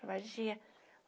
Abadia.